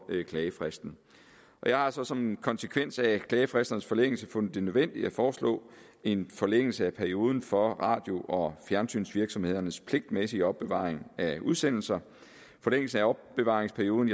klagefristen jeg har så som en konsekvens af klagefristernes forlængelse fundet det nødvendigt at foreslå en forlængelse af perioden for radio og fjernsynsvirksomhedernes pligtmæssige opbevaring af udsendelser forlængelsen af opbevaringsperioden